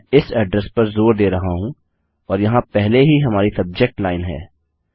मैं इस अड्रेस पर जोर दे रहा हूँ और यहाँ पहले ही हमारी सब्जेक्ट लाइन है